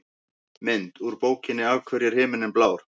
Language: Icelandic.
Mynd: Úr bókinni Af hverju er himinninn blár?